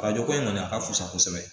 Arajo ko in kɔni a ka fusa kosɛbɛ